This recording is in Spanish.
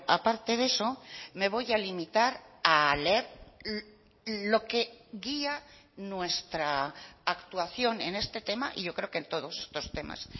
aparte de eso me voy a limitar a leer lo que guía nuestra actuación en este tema y yo creo que en todos estos temas